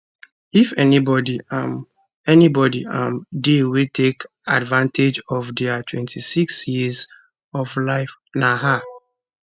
if anybody um anybody um dey wey take advantage of dia 26 years of life na her